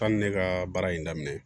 K'a ni ne ka baara in daminɛ